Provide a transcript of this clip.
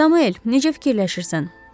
Samuel, necə fikirləşirsən?